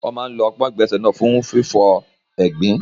Wọ́n máa ń lo ọpọ́n ìgbọ̀nsẹ̀ náà fún fífọ egbin.